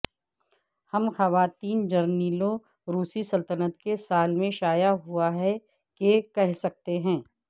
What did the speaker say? ہم خواتین جرنیلوں روسی سلطنت کے سال میں شائع ہوا ہے کہ کہہ سکتے ہیں